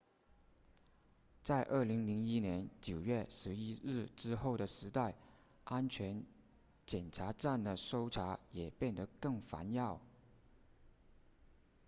在2001年9月11日之后的时代安全检查站的搜查也变得更烦扰